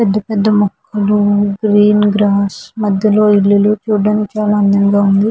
పెద్ధ పెద్ధ మొక్కలు గ్రీన్ గ్రాస్ మధ్యలో ఇల్లులు చూడటానికి చాలా అందంగా ఉంది.